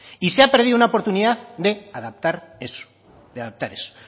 y se ha perdido una oportunidad de adaptar eso de adaptar eso